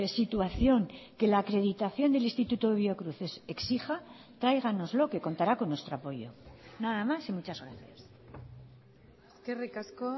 situación que la acreditación del instituto biocruces exija tráiganoslo que contará con nuestro apoyo nada más y muchas gracias eskerrik asko